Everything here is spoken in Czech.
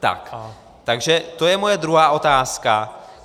Takže to je moje druhá otázka.